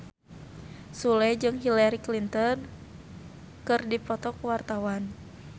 Sule jeung Hillary Clinton keur dipoto ku wartawan